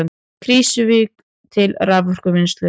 Krýsuvík til raforkuvinnslu.